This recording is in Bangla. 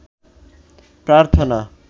প্রার্থনা